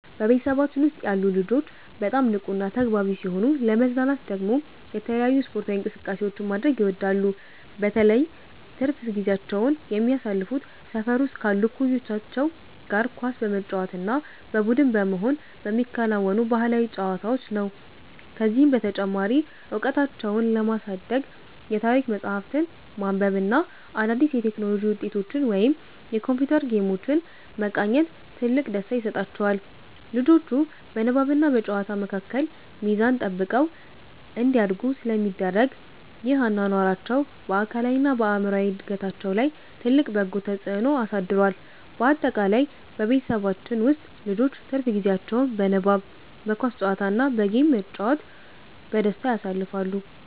በቤተሰባችን ውስጥ ያሉ ልጆች በጣም ንቁና ተግባቢ ሲሆኑ፣ ለመዝናናት ደግሞ የተለያዩ ስፖርታዊ እንቅስቃሴዎችን ማድረግ ይወዳሉ። በተለይ ትርፍ ጊዜያቸውን የሚያሳልፉት ሰፈር ውስጥ ካሉ እኩዮቻቸው ጋር ኳስ በመጫወት እና በቡድን በመሆን በሚከወኑ ባህላዊ ጨዋታዎች ነው። ከዚህም በተጨማሪ እውቀታቸውን ለማሳደግ የታሪክ መጽሐፍትን ማንበብ እና አዳዲስ የቴክኖሎጂ ውጤቶችን ወይም የኮምፒውተር ጌሞችን መቃኘት ትልቅ ደስታ ይሰጣቸዋል። ልጆቹ በንባብና በጨዋታ መካከል ሚዛን ጠብቀው እንዲያድጉ ስለሚደረግ፣ ይህ አኗኗራቸው በአካላዊና በአእምሮ እድገታቸው ላይ ትልቅ በጎ ተጽዕኖ አሳድሯል። ባጠቃላይ በቤተሰባችን ውስጥ ልጆች ትርፍ ጊዜያቸውን በንባብ፣ በኳስ ጨዋታ እና በጌም በመጫወት በደስታ ያሳልፋሉ።